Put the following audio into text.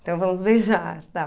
Então, vamos beijar, tal.